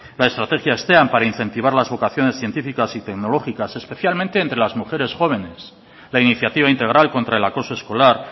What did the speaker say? la estrategia steam para incentivar las vocaciones científicas y tecnológicas especialmente entre las mujeres jóvenes la iniciativa integral contra el acoso escolar